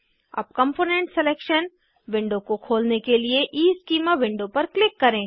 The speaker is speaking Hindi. अब कॉम्पोनेन्ट सलेक्शन विंडो को खोलने के लिए ईस्कीमा विंडो पर क्लिक कर्रें